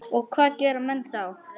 Og hvað gera menn þá?